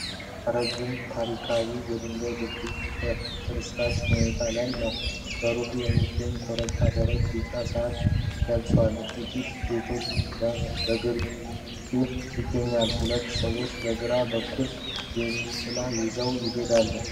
ረጅም ታሪካዊ የድንጋይ ድልድይ በፍርስራሽ ሁኔታ ላይ ነው። በሩቅ የሚገኘው ኮረብታ ደረቅ ቢጫ ሳር ለብሷል፤ ጥቂት ቤቶች ከግርጌው ይገኛሉ። ሁለት ሰዎች ከግራ በኩል ጃንጥላ ይዘው ይሄዳሉ።